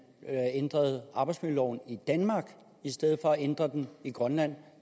ændrede arbejdsmiljøloven i danmark i stedet for at ændre den i grønland